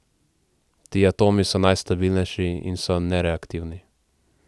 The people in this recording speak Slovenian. Ti atomi so najstabilnejši in so nereaktivni.